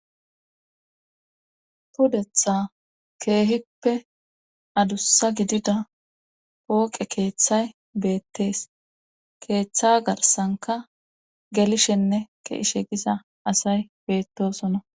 tudetha keehippe adussa gidida pooqe keeththay beettees keeththa garsanka gelishenne keishe gisa asay beettosona